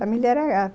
Família era